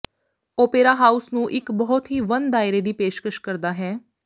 opera house ਨੂੰ ਇੱਕ ਬਹੁਤ ਹੀ ਵੰਨ ਦਾਇਰੇ ਦੀ ਪੇਸ਼ਕਸ਼ ਕਰਦਾ ਹੈ